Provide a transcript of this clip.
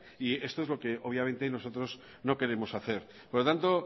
y esto es lo que obviamente nosotros no queremos hacer por lo tanto